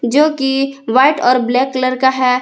जो कि व्हाइट और ब्लैक कलर का है।